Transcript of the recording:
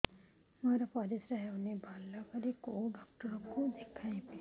ମୋର ପରିଶ୍ରା ହଉନାହିଁ ଭଲରେ କୋଉ ଡକ୍ଟର କୁ ଦେଖେଇବି